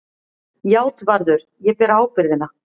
JÁTVARÐUR: Ég ber ábyrgðina.